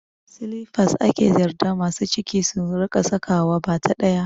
Silifas ake yardar ma masu ciki su rika saka wa, bata ɗaya